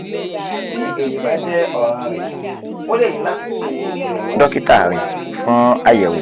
ti eyi ba je oran re o le ni lati se ibewodokita re fun ayewo